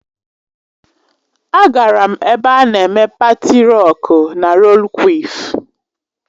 Agara m ebe a na-eme paati rocku na rollu kwịf.